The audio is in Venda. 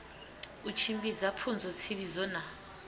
u tshimbidza pfunzo tsivhudzo na